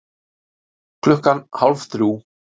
Klukkan hálf þrjú